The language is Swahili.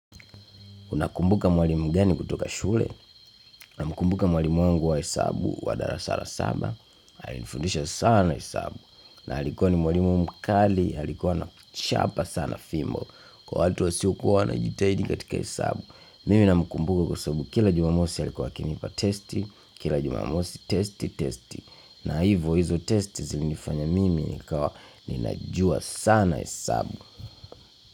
Unakumbuka mwalimu gani kutoka shule? Namkumbuka mwalimu mwangu wa hesabu wa darasa la saba. Alinifundisha sana hesabu na alikuwa ni mwalimu mkali alikuwa anakuchapa sana fimbo kwa watu wasiokuwa wanajitahidi katika hesabu. Mimi namkumbuka kwa sabu kila jumamosi alikuwa akinipa testi, kila jumamosi testi, testi na hivo hizo testi zilinifanya mimi nikawa ninajua sana hesabu.